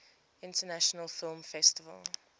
international film festival